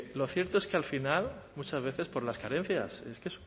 lo cierto es que al final muchas veces por las carencias es que